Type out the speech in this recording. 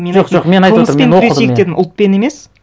мен айттым қылмыспен күресейік дедім ұлтпен емес